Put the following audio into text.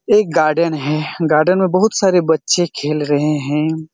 एक गार्डन हैं गार्डन में बहुत सारे बच्चे खेल रहे हैं।